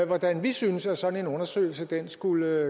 hvordan vi synes at sådan en undersøgelse skulle